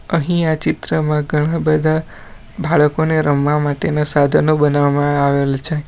અહીં આ ચિત્રમાં ઘણા બધા બાળકોને રમવા માટેના સાધનો બનાવામાં આવેલ છે.